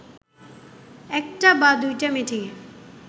একটা বা দুইটা মিটিংয়ে